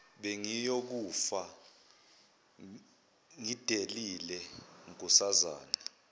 bengiyokufa ngidelile nkosazana